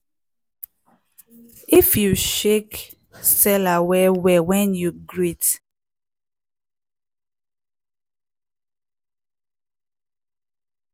if you shake seller well-well when you greet